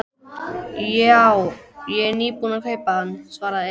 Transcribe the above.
Já, ég er nýbúinn að kaupa hann, svaraði Emil.